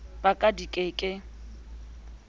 ba ka di ke ke